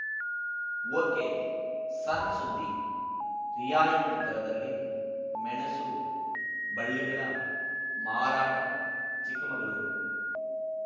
okay ಸಣ್‌ ಸುದ್ದಿರಿಯಾಯಿತಿ ದರದಲ್ಲಿ ಮೆಣಸು ಬಳ್ಳಿಗಳ ಮಾರಾಟ ಚಿಕ್ಕಮಗಳೂರು